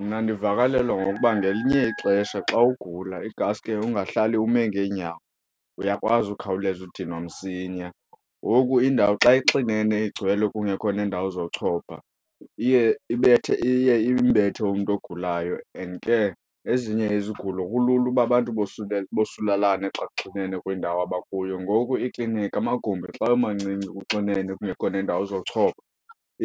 Mna ndivakalelwa ngokuba ngelinye ixesha xa ugula ingaske ungahlali ume ngeenyawo uyakwazi ukhawuleza udinwa msinya. Ngoku indawo xa ixinene igcwele kungekho neendawo zochopha iye ibethe, iye imbethe umntu ogulayo and ke ezinye izigulo kulula uba abantu bosulalane xa kuxinene kwiindawo abakuyo. Ngoku iikliniki amagumbi xa wemancinci kuxinene kungekho neendawo zochopha